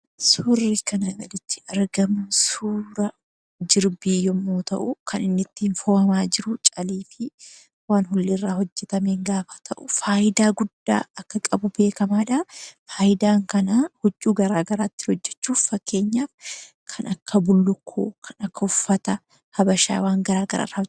Suuraan kana gaditti argamu kun suuraa jirbii yommuu ta'u; kan ittiin foo'amaa jirus calii fi waan ullee irraa hojjetamanii dha. Faayidaa guddaa akka qabu beekamaa dha. Huccuu garaa garaa irraa hojjechuuf kan ooluudha. Fakkeenyaaf kanneen akka Bullukkoo fa'aa kan irraa hojjetamanii dha.